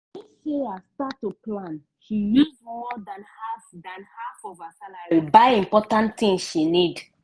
when sarah start to plan she use more than half than half of her salary buy important tins she need.